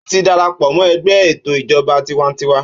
Ó ti dara pọ̀ mọ́ ẹgbẹ́ ètò ìjọba tiwańtiwa.